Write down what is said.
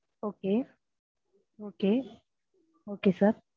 okay okay okay sir